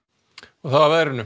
þá að veðri